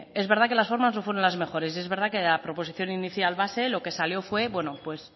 es verdad que las formas no fueron las mejores y es verdad que la proposición inicial base lo que salió fue bueno pues